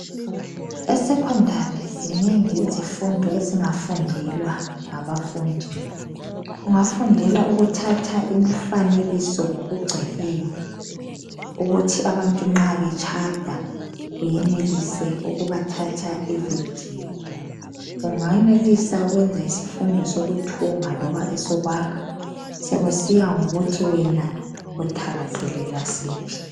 Esecondary zinengi izifundo ezingafundelwa ngabafundi, kungafundelwa ukuthatha imfanekiso egcweleyo sokusiya ngokuthi wena uthakazelela siphi ukuthi nxa abantu betshada